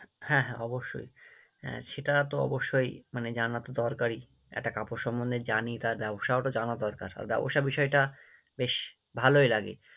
হ্যাঁ, হ্যাঁ অবশ্যই হ্যাঁ সেটা তো অবশ্যই মানে জানা তো দরকারী, একটা কাপড় সম্মন্ধে জানি তার ব্যবসাটাও জানা দরকার, আর বিষয়টা বেশ ভালোই লাগে।